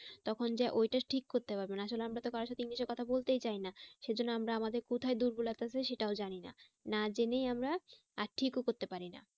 তখন যে ওইটা ঠিক করতে পারবেন আসলে আমরা তো কারো সাথে english এ কথা বলতেই চাই না। সেই জন্য আমরা আমাদের কোথায় দুর্বলতা আছে সেটাও জানি না। না জেনেই আমরা আর ঠিকও করতে পারি না।